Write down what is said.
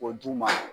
K'o d'u ma